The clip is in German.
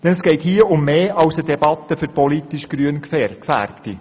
Es geht hier um mehr als um eine Debatte für politisch grün Eingefärbte.